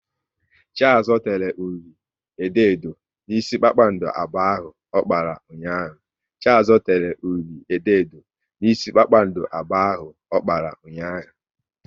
Chiazo tere ụli edo edo n'isi kpakpando abụọ ahụ ọ kpara ụnyaahụ